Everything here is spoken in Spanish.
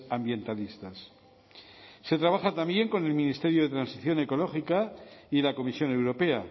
ambientalistas se trabaja también con el ministerio de transición ecológica y la comisión europea